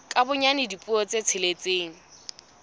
ka bonyane dipuo tse tsheletseng